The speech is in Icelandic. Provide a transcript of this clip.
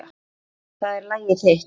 Það er lagið þitt.